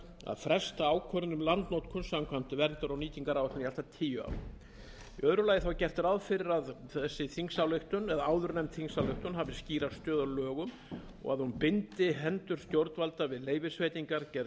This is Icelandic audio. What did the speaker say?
fresta ákvörðun um landnotkun samkvæmt verndar og nýtingaráætlun í allt að tíu ár í öðru lagi er gert ráð fyrir að áður nefnd þingsályktun hafi skýra stöðu að lögum og að hún bindi hendur stjórnvalda við leyfisveitingar gerð